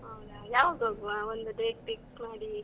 ಹೌದಾ ಯಾವಾಗ ಹೋಗುವ? ಒಂದು date pick ಮಾಡಿ.